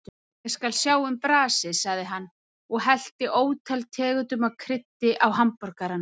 Ég skal sjá um brasið, sagði hann og hellti ótal tegundum af kryddi á hamborgarana.